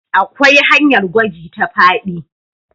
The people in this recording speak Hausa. akwai hanyar gwaji ta faɗi